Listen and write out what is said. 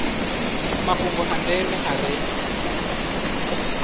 mafhungo a ndeme a re